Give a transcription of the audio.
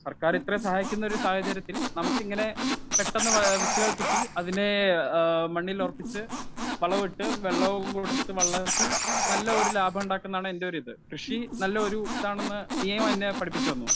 Speaker 1 സർക്കാർ ഇത്രേം സഹായിക്കുന്ന ഒരു സാഹചര്യത്തിൽ നമുക്ക് ഇങ്ങനെ പെട്ടന്ന് വിത്തുകൾ കിട്ടി അതിനെ ഏ മണ്ണിലുറപ്പിച്ചു വളവുമിട്ട് വെള്ളവും കൊടുത്തു വളർത്തി നല്ലൊരു ലാഭമുണ്ടാക്കുന്നാണ് എന്റെ ഒരു ഇത്. കൃഷി നല്ലൊരു ഇതാണന്ന് നീയും എന്നെ പഠിപ്പിച്ചു തന്നു.